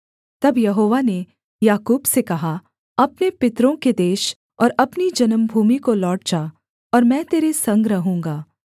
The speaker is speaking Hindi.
तब यहोवा ने याकूब से कहा अपने पितरों के देश और अपनी जन्मभूमि को लौट जा और मैं तेरे संग रहूँगा